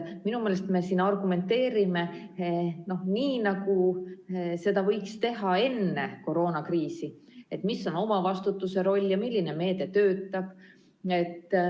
Minu meelest me argumenteerime nii, nagu seda oleks võinud teha enne koroonakriisi, et mis on omavastutuse roll ja milline meede töötab.